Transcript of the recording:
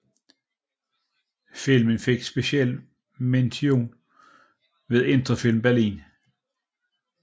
Filmen fik special mention ved Interfilm Berlin